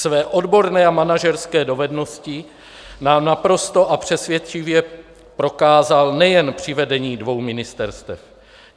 Své odborné a manažerské dovednosti nám naprosto a přesvědčivě prokázal nejen při vedení dvou ministerstev.